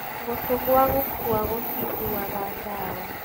Gũtũ gũa gũkua gũtiguaga dawa.